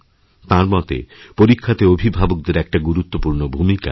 তাঁর মতে পরীক্ষাতে অভিভাবকদের একটি গুরুত্বপূর্ণ ভূমিকা আছে